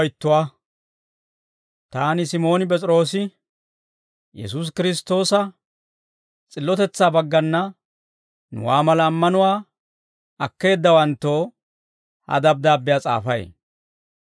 Taani Simooni P'es'iroosi, Yesuusi Kiristtoosa s'illotetsaa baggana nuwaa mala ammanuwaa akkeeddawanttoo, ha dabddaabbiyaa s'aafay.